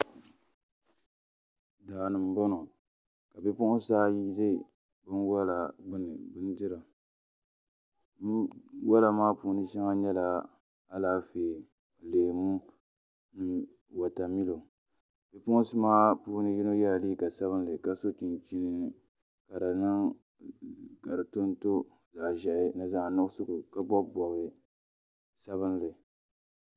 Daa ni n boŋo ka bipuɣunsi ayi ʒɛ binwola gbuni n dira binwola maa puuni shɛŋa nyɛla Alaafee leemu ni wotamilo bipuɣunsi maa puuni yino yɛla liiga sabinli ka so chinchini ka di tonto zaɣ ʒiɛhi ni zaɣ nuɣso ka bob bob sabinli